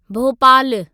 भोपालु